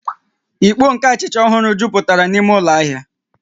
Ìkpó nke achịcha ọhụrụ jupụtara n'ime ụlọ ahịa